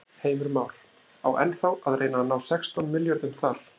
Heimir Már: Á ennþá að reyna að ná sextán milljörðum þar?